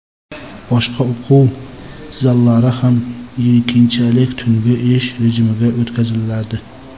boshqa o‘quv zallari ham keyinchalik tungi ish rejimiga o‘tkaziladi.